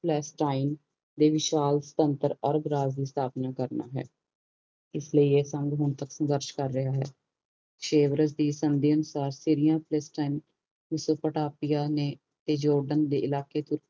ਪਲਸਟਾਇਨੇ ਦੇ ਵਿਸ਼ਾਲ ਸੁਤੰਤਰ ਅਰਗ ਰਾਜ ਦੀ ਸਥਾਪਨਾ ਕਰਨਾ ਹੈ ਇਸ ਲਈ ਇਹ ਸੰਗ ਹੁਣ ਤਕ ਸੰਗਰਸ਼ ਕਰ ਰਿਹਾ ਹੈ ਸੇਵਰਸ਼ ਦੀ ਸੰਧੀ ਅਨੁਸਾਰ ਬੈਠਰੇਆਂ ਪਲਾਸਤੇਨਾ ਹੁਸਨ ਪਾਟੀਆਂ ਨੇ ਜਾਰਡਨ ਦੇ ਇਲਾਕੇ ਚ